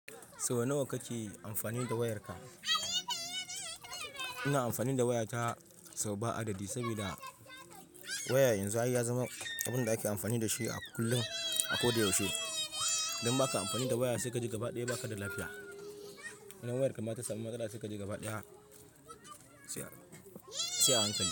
Sau nawa kake amfani da wayarka? Ina amfani da wayata sau ba a daɗi, saboda waya yanzu ya zama abun da ake amfani da shi a kullum, a kodayaushe. Idan baka amfani da waya sai ka ji gabaɗaya baka da lafiya. Idan wayarka ba ta samun kada sai ka ji gabaɗaya, sai a hankali.